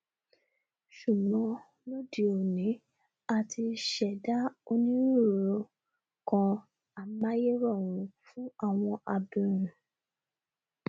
ṣùgbọn lóde òní a ti ṣẹdá onírúirú nkan amáyérọrùn fún àwọn abirùn